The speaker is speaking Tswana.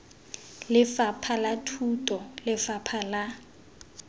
lefapha la thuto lefapha la